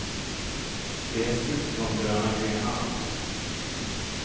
Det är slut på de gröna grenarna. punkt